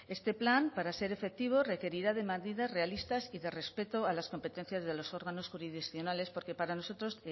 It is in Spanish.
este plan para ser efectivo requerirá de medidas realistas y de respeto a las competencias de los órganos jurisdiccionales porque para nosotros